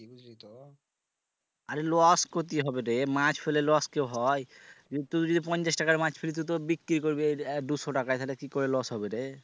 আরে loss কোথ থেকে হবে রে মাছ ফেলে loss কি হয় তুই যদি পঞ্চাশ টাকার মাছ ফেলি তো তোর বিক্রি করবি আহ দুশো টাকায় সেটা কি করে loss হবে রে